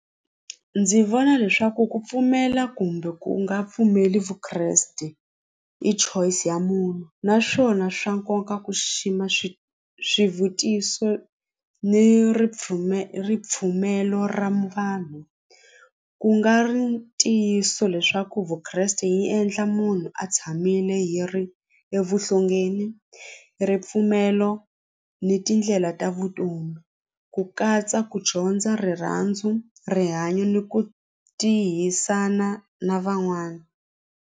Ndzi vona leswaku ku pfumela kumbe ku nga pfumeli vukreste i choice ya munhu naswona swa nkoka ku xixima swi swivutiso ni ripfumelo ripfumelo ra vanhu ku nga ri ntiyiso leswaku vukreste yi endla munhu a tshamile hi ri evuhlongeni ripfumelo ni tindlela ta vutomi ku katsa ku dyondza rirhandzu rihanyo ni ku tihisana na van'wana.